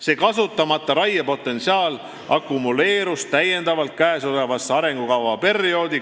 See kasutamata raiepotentsiaal akumuleerus täiendavalt käesolevasse arengukavaperioodi .